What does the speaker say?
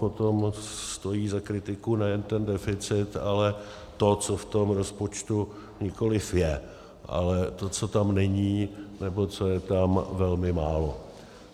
Potom stojí za kritiku nejen ten deficit, ale to, co v tom rozpočtu nikoliv je, ale to, co tam není, nebo co je tam velmi málo.